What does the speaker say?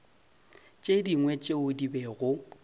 tše dingwe tšeo di bego